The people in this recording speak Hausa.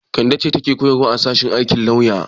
Kande ce take koyarwa a sashen aikin lauya.